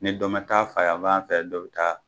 Ni dɔ mɛ taa fayanfan fɛ dɔ bi ta.